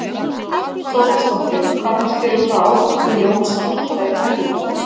Hrund Þórsdóttir: Hvað finnst þér um þá ákvörðun Jóns að hætta í pólitík?